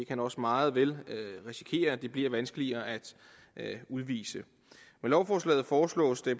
kan også meget vel risikere at det bliver vanskeligere at udvise med lovforslaget foreslås det